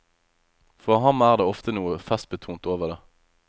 For ham er det ofte noe festbetont over det.